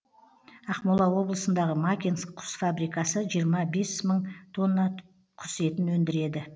ақмола облысындағы макинск құс фабрикасы жиырма бес мың тонна құс етін өндіреді